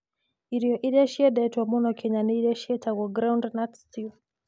Irio iria ciendetwo mũno Kenya nĩ iria ciĩtagwo groundnut stew.